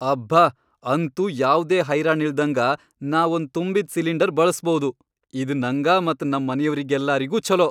ಅಬ್ಬಾ ಅಂತೂ ಯಾವ್ದೇ ಹೈರಾಣಿಲ್ದಂಗ ನಾ ಒಂದ್ ತುಂಬಿದ್ ಸಿಲಿಂಡರ್ ಬಳಸ್ಭೌದು, ಇದ್ ನಂಗ ಮತ್ ನಮ್ ಮನಿಯವ್ರೆಲ್ಲಾರಿಗೂ ಛೊಲೋ.